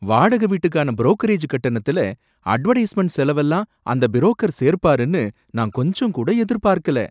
வாடகை வீட்டுக்கான ப்ரோகரேஜ் கட்டணத்துல அட்வர்டைஸ்மென்ட் செலவெல்லாம் அந்த பிரோக்கர் சேர்ப்பாருன்னு நான் கொஞ்சம் கூட எதிர்ப்பார்க்கல.